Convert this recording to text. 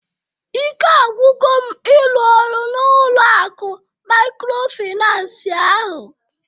Ike agwugo m ịrụ ọrụ n'ụlọ akụ maykrofinans ahụ